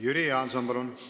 Jüri Jaanson, palun!